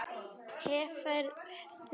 Hefurðu sjálf?